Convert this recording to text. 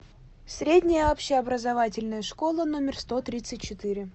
средняя общеобразовательная школа номер сто тридцать четыре